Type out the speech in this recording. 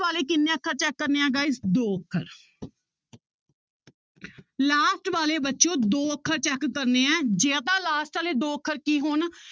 ਵਾਲੇ ਕਿੰਨੇ ਅੱਖਰ check ਕਰਨੇ ਆ guys ਦੋ ਅੱਖਰ last ਵਾਲੇ ਬੱਚਿਓ ਦੋ ਅੱਖਰ check ਕਰਨੇ ਹੈ ਜੇ ਤਾਂ last ਵਾਲੇ ਦੋ ਅੱਖਰ ਕੀ ਹੋਣ